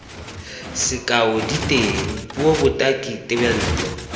sekao diteng puo botaki tebelo